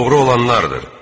Doğru olanlardır.